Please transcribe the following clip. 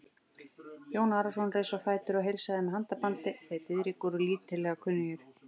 Jón Arason reis á fætur og heilsaði með handabandi, þeir Diðrik voru lítillega kunnugir.